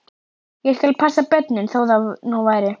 Ég skal passa börnin, þó það nú væri.